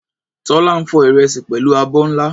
Tola ń fọ ìrẹsì pẹ̀lú abọ́ ńlá.